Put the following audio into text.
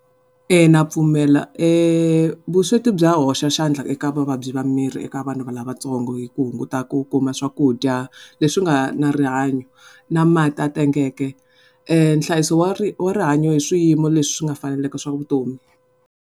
Na pfumela vusweti bya hoxa xandla eka vuvabyi bya miri eka vanhu lavatsongo hi ku hunguta ku kuma swakudya leswi nga na rihanyo na mati a tengeke nhlayiso wa wa rihanyo i swiyimo leswi swi nga faneleka swa vutomi.